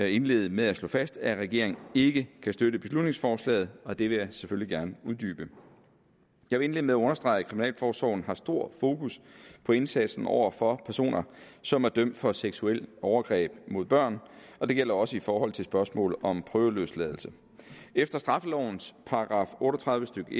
indlede med at slå fast at regeringen ikke kan støtte beslutningsforslaget og det vil jeg selvfølgelig gerne uddybe jeg vil indlede med at understrege at kriminalforsorgen har stor fokus på indsatsen over for personer som er dømt for seksuelle overgreb mod børn og det gælder også i forhold til spørgsmålet om prøveløsladelse efter straffelovens § otte og tredive stykke